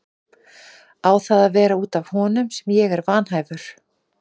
Á það að vera út af honum sem ég er vanhæfur?